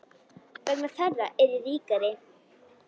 Vegna þeirra er ég ríkari.